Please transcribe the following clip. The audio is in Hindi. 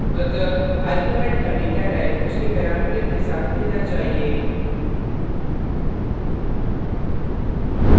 अतः argument का data type उसके parameter के साथ मिलना चाहिए